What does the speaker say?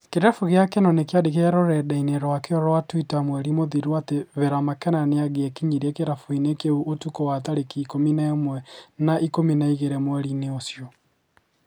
kĩrabu gĩa kenol kĩandĩkire rũrenda-inĩ rwakio rwa Twitter mweri mũthiru atĩ Vera Makena nĩangĩekinyirie kĩrabu-inĩ kĩu ũtukũ wa tarĩki ikũmi na ĩmwe na ikũmi na igĩrĩ mweri-inĩ ũcio